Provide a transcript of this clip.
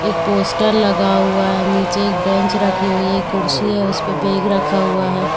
एक पोस्टर लगा हुआ है नीचे एक ब्रेंच रखी हुई है एक कुर्सी है उसपे बैग रखा हुआ है।